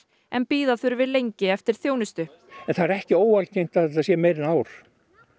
en bíða þurfi lengi eftir þjónustu það er ekki óalgengt að þetta sé meira en ár